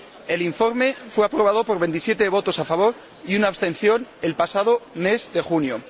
El informe fue aprobado por 27 votos a favor y una abstención el pasado mes de junio.